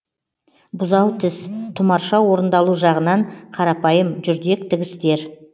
бұзау тіс тұмарша орындалу жағынан қарапайым жүрдек тігістер